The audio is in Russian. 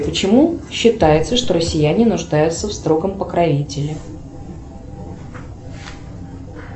почему считается что россияне нуждаются в строгом покровителе